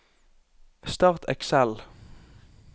Start Excel